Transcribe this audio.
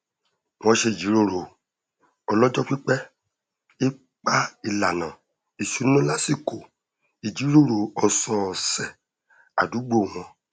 wọn ṣe jíròrò ọlọjọ pípẹ ipá ìlànà ìṣúná lásìkò ìjíròrò ọsọọsẹ àdúgbò wọn